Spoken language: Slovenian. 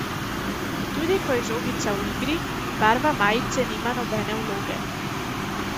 Tudi ko je žogica v igri, barva majice nima nobene vloge.